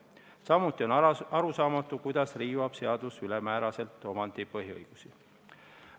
Samuti on arusaamatu, kuidas riivab seadus ülemääraselt omandipõhiõigusi.